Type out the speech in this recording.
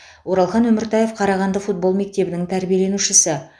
оралхан өміртаев қарағанды футбол мектебінің тәрбиеленушісі